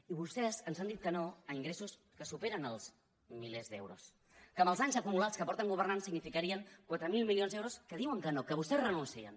i vostès ens han dit que no a ingressos que superen els milers d’euros que amb els anys acumulats que fa que governen significarien quatre mil milions d’euros que diuen que no que vostès hi renuncien